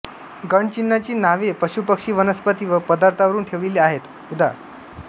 गणचिन्हांची नावे पशुपक्षी वनस्पती व पदार्थांवरून ठेवलेली आहेत उदा